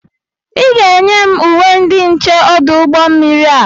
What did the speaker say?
Ị ga-enye m uwe ndị nche ọdụ ụgbọ mmiri a!